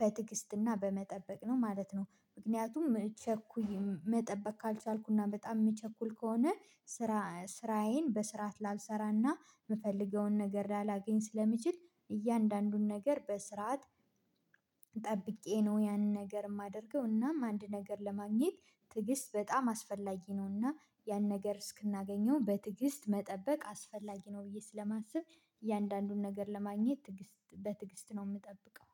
በትግስትና በመጠበቅ ነው ማለት ነው። ምክንያቱም ቸኩዬ መጠበቅ ካልቻልኩና በጣም የምቸኩል ከሆነ ስራ ስራዬን በስርዓት ላልሰራና የምፈልገውን ነገር ላላገኝ ስለሚችል። እያንዳንዱን ነገር በስርዓት ጠብቄ ነው ያንን ነገር የማደርገው። እናም አንድ ነገር ለማግኘት ትግስት በጣም አስፈላጊ ነው። እና ያን ነገር እስክናገኘው በትዕግስት መጠበቅ አስፈላጊ ነው። ብዬ ስለማስብ እያንዳንዱን ነገር ለማግኘት ትዕግስት በትዕግስት ነው የምጠብቀው